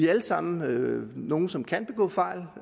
alle sammen nogle som kan begå fejl